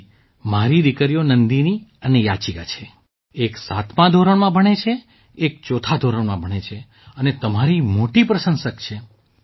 જી મારી દીકરીઓ નંદિની અને યાચિકા છે એક સાતમા ધોરણમાં ભણે છે એક ચોથા ધોરણમાં ભણે છે અને તમારી મોટી પ્રશંસક છે